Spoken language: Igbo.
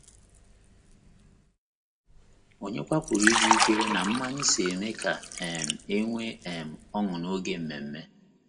Ònyekwa pụrụ ịjụ ikwere na mmanya so eme ka um e nwee um ọṅụ n’oge ememe?